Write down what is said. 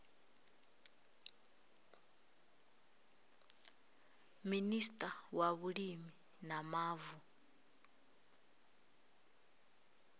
minista wa vhulimi na mavu